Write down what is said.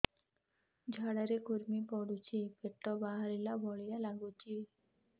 ଝାଡା ରେ କୁର୍ମି ପଡୁଛି ପେଟ ବାହାରିଲା ଭଳିଆ ଲାଗୁଚି